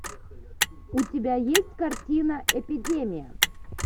у тебя есть картина эпидемия